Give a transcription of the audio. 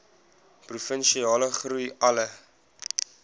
provinsiale groei alle